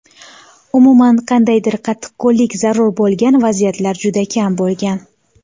Umuman, qandaydir qattiqqo‘llik zarur bo‘lgan vaziyatlar juda kam bo‘lgan.